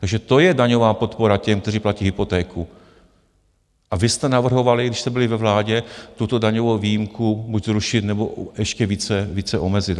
Takže to je daňová podpora těm, kteří platí hypotéku, a vy jste navrhovali, když jste byli ve vládě, tuto daňovou výjimku buď zrušit, nebo ještě více omezit.